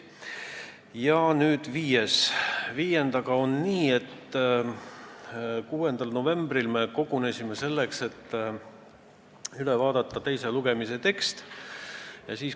Viienda muudatusettepanekuga on nii, et 6. novembril me kogunesime selleks, et üle vaadata teise lugemise tekst.